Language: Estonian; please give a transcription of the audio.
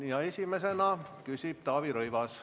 Esimesena küsib Taavi Rõivas.